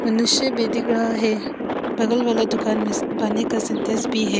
मनुष्य भी दिख रहा है। बगल वाला दुकान में पानी का सिंटेक्स भी है।